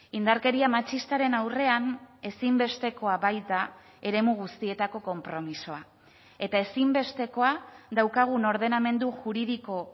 indarkeria matxistaren aurrean ezinbestekoa baita eremu guztietako konpromisoa eta ezinbestekoa daukagun ordenamendu juridiko